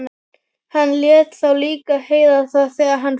Hann lét þá líka heyra það þegar hann fór.